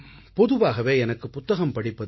பொதுவாகவே எனக்கு புத்தகம் படிப்பதில்